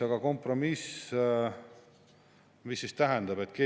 Aga mida kompromiss tähendab?